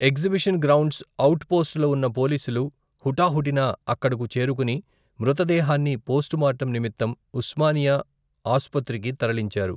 Exhibition grounds out పోస్టులో ఉన్న పోలీసులు, హుటాహుటిన అక్కడకు చేరుకుని, మృతదేహాన్ని పోస్టుమార్టం నిమిత్తం, ఉస్మానియా ఆసుపత్రికి తరలించారు.